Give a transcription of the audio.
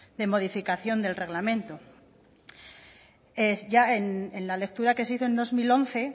de modificación del reglamento en la lectura que se hizo en dos mil once